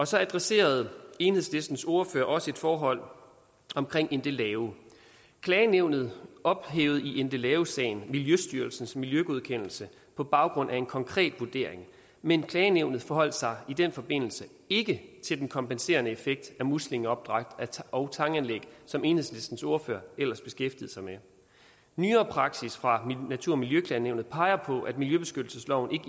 så adresserede enhedslistens ordfører også et forhold omkring endelave klagenævnet ophævede i endelavesagen miljøstyrelsens miljøgodkendelse på baggrund af en konkret vurdering men klagenævnet forholdt sig i den forbindelse ikke til den kompenserende effekt af muslingeopdræt og tanganlæg som enhedslistens ordfører ellers beskæftigede sig med nyere praksis fra natur og miljøklagenævnet peger på at miljøbeskyttelsesloven